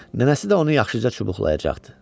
Nənəsi də onu yaxşıca çubuqlayacaqdı.